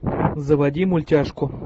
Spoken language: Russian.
заводи мультяшку